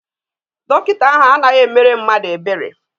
Dọkịta ahụ anaghị emere mmadụ ebere.